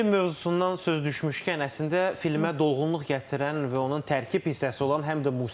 Film mövzusundan söz düşmüşkən, əslində filmə dolğunluq gətirən və onun tərkib hissəsi olan həm də musiqidir.